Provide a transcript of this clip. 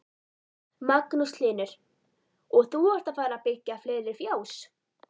Magnús Hlynur: Og þú ert að fara byggja fleiri fjós?